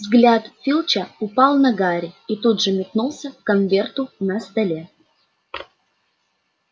взгляд филча упал на гарри и тут же метнулся к конверту на столе